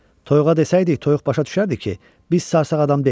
Toyuğa desəydik, toyuq başa düşərdi ki, biz sarsaq adam deyilik.